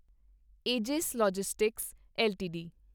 aegis logistics LTD